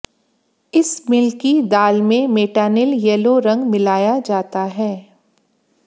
इस मिल की दाल में मेटानिल येलो रंग मिलाया जाता है